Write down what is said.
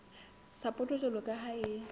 sapoto jwalo ka ha e